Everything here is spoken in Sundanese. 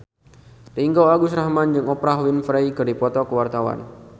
Ringgo Agus Rahman jeung Oprah Winfrey keur dipoto ku wartawan